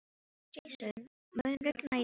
Jason, mun rigna í dag?